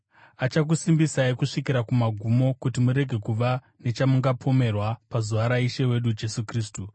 Achakusimbisai kusvikira kumagumo, kuti murege kuva nechamungapomerwa pazuva raIshe wedu Jesu Kristu.